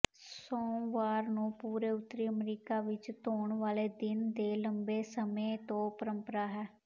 ਸੋਮਵਾਰ ਨੂੰ ਪੂਰੇ ਉੱਤਰੀ ਅਮਰੀਕਾ ਵਿੱਚ ਧੋਣ ਵਾਲੇ ਦਿਨ ਦੇ ਲੰਬੇ ਸਮੇਂ ਤੋਂ ਪਰੰਪਰਾ ਹੈ